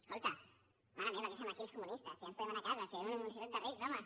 escolta mare meva què fem aquí els comunistes ja ens en podem anar a casa si vivim en una societat de rics home